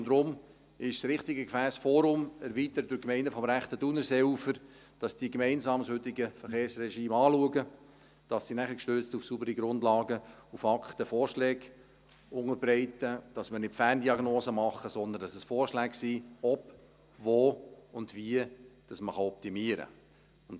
Und darum ist das richtige Gefäss das Forum, erweitert durch die Gemeinden des rechten Thunerseeufers, damit sie gemeinsam das heutige Verkehrsregime anschauen und damit sie dann, gestützt auf saubere Grundlagen und Fakten, Vorschläge unterbreiten – damit wir keine Ferndiagnosen machen, sondern Vorschläge, ob, wo und wie man optimieren kann.